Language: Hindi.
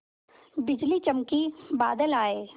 बिजली चमकी बादल आए